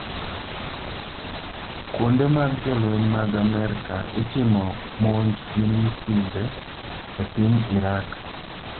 Kuonde mag jolweny mag Amerka itimo monj gi misinde e piny Iraq